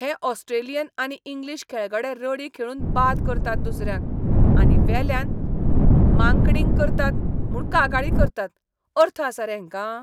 हे ऑस्ट्रेलियन आनी इंग्लीश खेळगडे रडी खेळून बाद करतात दुसऱ्यांक, आनी वेल्यान मांकडिंग करतात म्हूण कागाळी करतात. अर्थ आसा रे हेंका?